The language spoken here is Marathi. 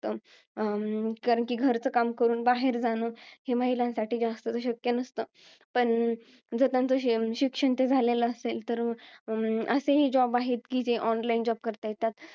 अं कारण कि, घरचं काम करून बाहेर जाणं, हे महिलांसाठी जास्त तर शक्य नसतं. पण, जर त्याचं, श~ शिक्षण ते झालेलं असेल, तर अं असेही job आहेत जे online job करता येतात.